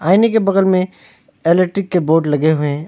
आईने के बगल में इलेक्ट्रिक के बोर्ड लगे हुए हैं।